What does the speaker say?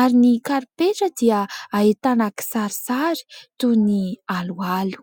ary ny karipetra dia ahitana kisarisary toy ny aloalo.